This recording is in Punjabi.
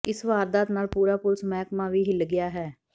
ਇਸ ਵਾਰਦਾਤ ਨਾਲ ਪੂਰਾ ਪੁਲਸ ਮਹਿਕਮਾ ਵੀ ਹਿੱਲ ਗਿਆ ਹੈ